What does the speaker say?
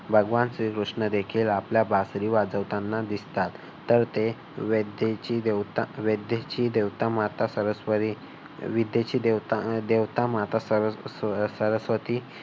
भगवान श्रीकृष्ण देखील आपल्याला बासरी वाजवताना दिसतात. तर ते विद्येची देवता माता सरस्वती विद्येची देवता माता सरस्वती